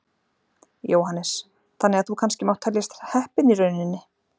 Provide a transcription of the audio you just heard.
Jóhannes: Þannig að þú kannski mátt teljast heppinn í rauninni?